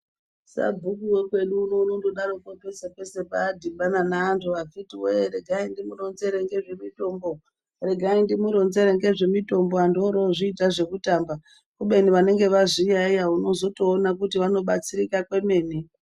Sabhuku wekwedu unono unongodaro pese pese padhibana neantu vakiti wee ,regai ndimu ronzere zvemitombo ,regaindimuronzere ngezve mitombo, vantu vorozviita zvekutamba kubeni vanenge vazviyaiya uno zotoona kuti vano batsirika komene.